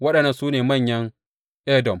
Waɗannan su ne manyan Edom.